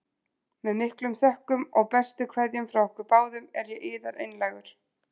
Með miklum þökkum og bestu kveðjum frá okkur báðum er ég yðar einlægur.